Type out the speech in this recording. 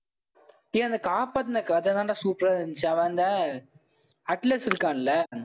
ஏன் அந்த காப்பாத்துன கதைதாண்டா சூப்பரா இருந்துச்சு, அவன் அந்த அட்லஸ் இருக்கான்ல